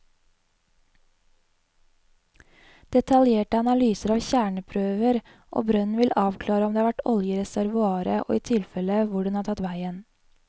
Detaljerte analyser av kjerneprøver og brønnen vil avklare om det har vært olje i reservoaret og i tilfelle hvor den har tatt veien.